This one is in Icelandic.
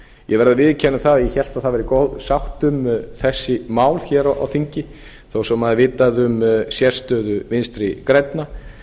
ég verð að viðurkenna að ég hélt að það væri góð sátt um þessi mál hér á þingi þó svo að maður hafi vitað um sérstöðu vinstri grænna